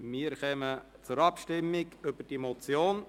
Wir kommen zur Abstimmung über diese Motion.